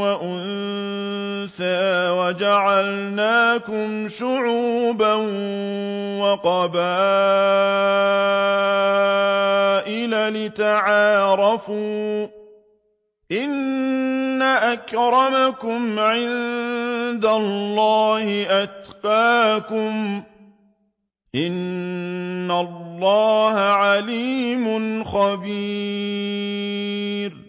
وَأُنثَىٰ وَجَعَلْنَاكُمْ شُعُوبًا وَقَبَائِلَ لِتَعَارَفُوا ۚ إِنَّ أَكْرَمَكُمْ عِندَ اللَّهِ أَتْقَاكُمْ ۚ إِنَّ اللَّهَ عَلِيمٌ خَبِيرٌ